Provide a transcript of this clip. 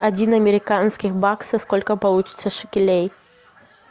один американский бакс сколько получится шекелей